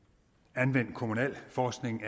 anvendt kommunalforskning